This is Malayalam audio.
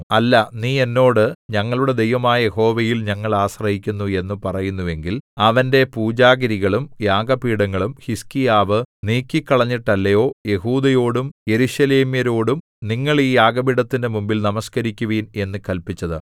അല്ല നീ എന്നോട് ഞങ്ങളുടെ ദൈവമായ യഹോവയിൽ ഞങ്ങൾ ആശ്രയിക്കുന്നു എന്നു പറയുന്നുവെങ്കിൽ അവന്റെ പൂജാഗിരികളും യാഗപീഠങ്ങളും ഹിസ്കീയാവ് നീക്കിക്കളഞ്ഞിട്ടല്ലയോ യെഹൂദയോടും യെരൂശലേമ്യരോടും നിങ്ങൾ ഈ യാഗപീഠത്തിന്റെ മുമ്പിൽ നമസ്കരിക്കുവിൻ എന്നു കല്പിച്ചത്